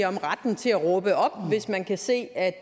om retten til at råbe op hvis man kan se at